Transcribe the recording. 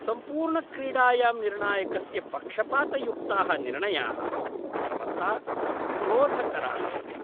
सम्पूर्णक्रीडायां निर्णायकस्य पक्षपातयुक्ताः निर्णयाः सर्वथा क्रोधकराः आसन्।